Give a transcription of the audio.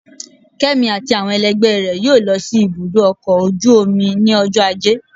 Kemi atí awọn ẹlẹgbẹ rẹ yóò lọ si ibudọ ọkọ ojú omí ni ọjọ ajé.